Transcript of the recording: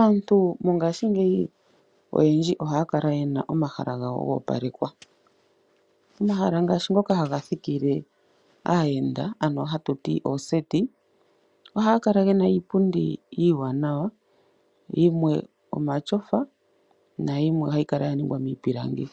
Aantu mongashingeyi aantu ohaa kala ye na omahala gawo go opalekwa omahala ngaashi ngoka haga thikile aayenda ano hatu ti ooseti ohaga kala gena iipundi iiwanawa yimwe omatyofa nayimwe ohayi kala ya ningwa miipilangi